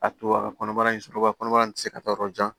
A to a ka kɔnɔbara in sɔrɔ kɔnɔbara tɛ se ka taa yɔrɔ jan